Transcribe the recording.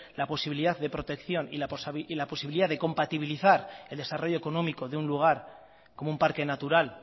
la posibilidad de protección y la posibilidad de compatibilizar el desarrollo económico de un lugar como un parque natural